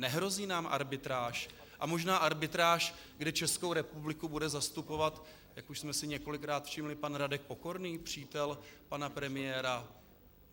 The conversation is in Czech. Nehrozí nám arbitráž a možná arbitráž, kde Českou republiku bude zastupovat, jak už jsme si několikrát všimli pan Radek Pokorný, přítel pana premiéra?